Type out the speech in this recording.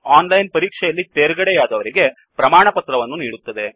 ಓನ್ಲೈನನ್ ಪರೀಕ್ಷೆ ಯಲ್ಲಿ ತೇರ್ಗಡೆಯಾದವರಿಗೆ ಪ್ರಮಾಣವನ್ನು ನೀಡುತ್ತದೆ